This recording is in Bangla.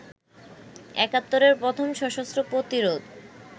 একাত্তরের প্রথম সশস্ত্র প্রতিরোধ